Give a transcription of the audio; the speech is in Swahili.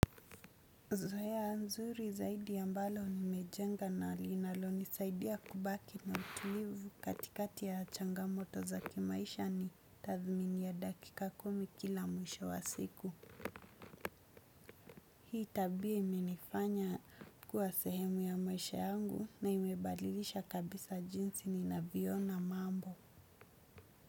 Zoea nzuri zaidi ambalo nimejenga na linalo nisaidia kubaki na utulivu katikati ya changamoto za kimaisha ni tathmini ya dakika kumi kila mwisho wa siku. Hii tabia imenifanya kuwa sehemu ya maisha yangu na imebalilisha kabisa jinsi ni ninavyoona mambo.